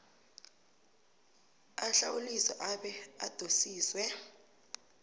ahlawuliswe abe adosiswe